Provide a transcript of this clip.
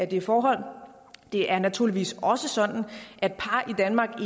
det forhold det er naturligvis også sådan at par i danmark